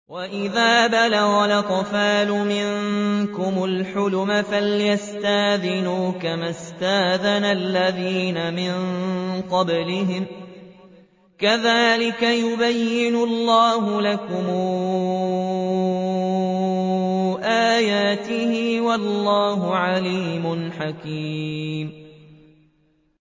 وَإِذَا بَلَغَ الْأَطْفَالُ مِنكُمُ الْحُلُمَ فَلْيَسْتَأْذِنُوا كَمَا اسْتَأْذَنَ الَّذِينَ مِن قَبْلِهِمْ ۚ كَذَٰلِكَ يُبَيِّنُ اللَّهُ لَكُمْ آيَاتِهِ ۗ وَاللَّهُ عَلِيمٌ حَكِيمٌ